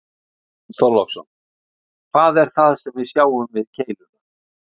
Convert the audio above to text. Björn Þorláksson: Hvað er það sem sjá við keiluna?